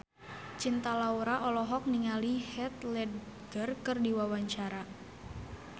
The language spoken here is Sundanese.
Cinta Laura olohok ningali Heath Ledger keur diwawancara